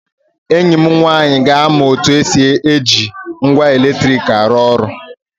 Enyi m nwaanyị ga-amụ otu esi eji ngwa eletrik arụ ọrụ